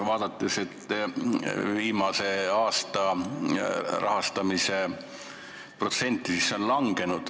Vaadates viimase aasta rahastamise protsenti, näeme, et see on langenud.